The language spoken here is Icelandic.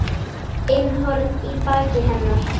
inn horn í baki hennar.